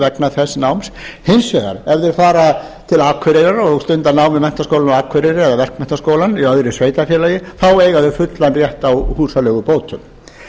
vegna þess náms hins vegar ef þeir fara til akureyrar og stunda nám við menntaskólann á akureyri eða verkmenntaskólann í öðru sveitarfélagi þá eiga þeir fullan rétt á húsaleigubótum